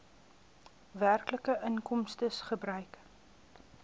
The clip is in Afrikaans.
werklike inkomstes gebruik